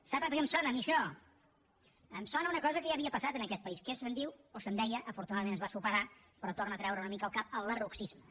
sap a què em sona a mi això em sona a una cosa que ja havia passat en aquest país que se’n diu o se’n deia afortunadament es va superar però torna a treure una mica el cap el lerrouxisme